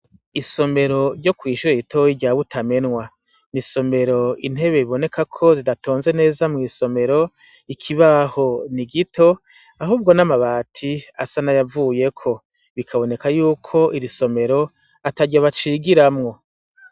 Isomero ryo kw'ishura itoyi ryab utamenwa, ni isomero intebe iboneka ko zidatonze neza mw'isomero ikibaho ni gito ahubwo n'amabati asa na yavuyeko, bikaboneka yuko irisomero atarya bacigiramwo.